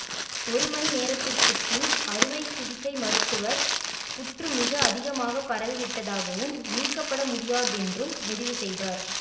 ஒரு மணி நேரத்திற்கு பின் அறுவை சிகிச்சை மருத்துவர் புற்று மிக அதிகமாக பரவிவிட்டதாகவும் நீக்கப்பட முடியாதென்றும் முடிவு செய்தார்